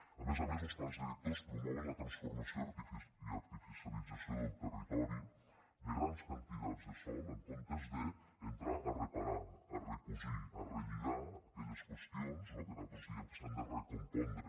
a més a més los plans directors promouen la transformació i artificialització del territori de grans quantitats de sòl en comptes d’entrar a reparar a recosir a relligar aquelles qüestions no que nosaltres diem que s’han de recompondre